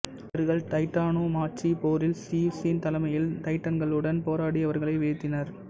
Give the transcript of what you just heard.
இவர்கள் டைட்டானோமாச்சி போரில் சியுசின் தலைமையில் டைட்டனக்ளுடன் போராடி அவர்களை வீழ்த்தினர்